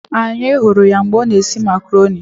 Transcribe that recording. Anyị hụrụ ya mgbe ọ na esi makaroni